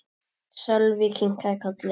Sölvi kinkaði kolli.